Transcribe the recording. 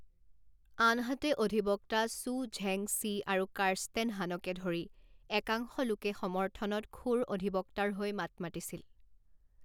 আনহাতে, অধিবক্তা চু ঝেং ছি আৰু কাৰ্ষ্টেন হানকে ধৰি একাংশ লোকে সমৰ্থনত খোৰ অধিবক্তাৰ হৈ মাত মাতিছিল।